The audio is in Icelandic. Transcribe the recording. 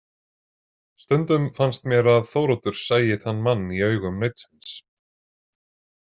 Stundum fannst mér að Þóroddur sæi þann mann í augum nautsins.